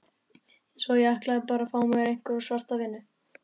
Svo ætlaði ég bara að fá mér einhverja svarta vinnu.